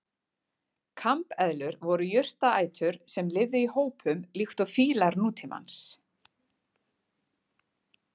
Kambeðlur voru jurtaætur sem lifðu í hópum líkt og fílar nútímans.